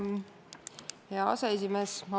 Hea aseesimees!